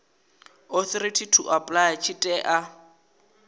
authority to apply tshi tea